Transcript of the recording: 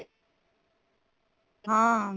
ਹਾਂ